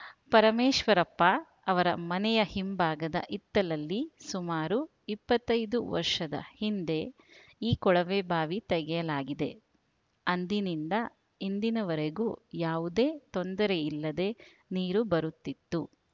ಪರಮೇಶ್ವರಪ್ಪ ಅವರ ಮನೆ ಹಿಂಭಾಗದ ಹಿತ್ತಲಲ್ಲಿ ಸುಮಾರು ಇಪ್ಪತ್ತೈದು ವರ್ಷದ ಹಿಂದೆ ಈ ಕೊಳವೆಬಾವಿ ತೆಗೆಯಲಾಗಿದೆ ಅಂದಿನಿಂದ ಇಂದಿನವರೆಗೂ ಯಾವುದೇ ತೊಂದರೆ ಇಲ್ಲದೆ ನೀರು ಬರುತ್ತಿತ್ತು